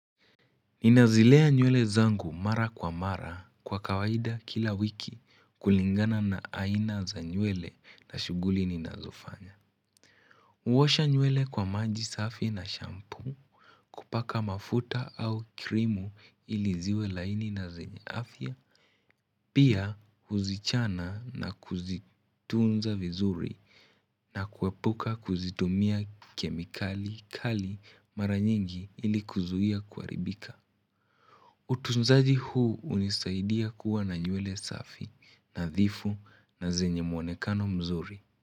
Ninazilea nywele zangu mara kwa mara kwa kawaida kila wiki kulingana na aina za nywele na shughuli ninazofanya. Huosha nywele kwa maji safi na shampoo kupaka mafuta au krimu ili ziwe laini na zenye afya. Pia huzichana na kuzitunza vizuri na kuepuka kuzitumia kemikali kali mara nyingi ili kuzuia kuharibika. Utunzaji huu hunisaidia kuwa na nywele safi, nadhifu na zenye mwonekano mzuri.